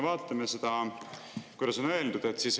Vaatame, mida on öeldud.